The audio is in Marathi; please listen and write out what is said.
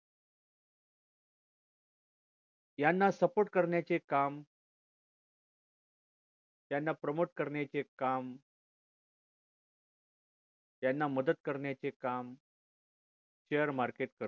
याना support करण्याचे काम त्यांना promote करण्याचे काम त्यांना मदत करण्याचे काम share market करत असते